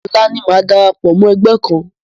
Ọ̀la ni màá darapọ̀ mọ́ ẹgbẹ́ kan.